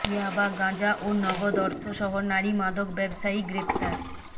ইয়াবা গাঁজা ও নগদ অর্থসহ নারী মাদক ব্যবসায়ী গ্রেপ্তার